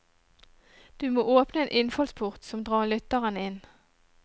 Du må åpne en innfallsport som drar lytteren inn.